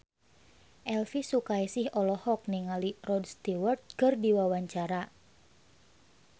Elvi Sukaesih olohok ningali Rod Stewart keur diwawancara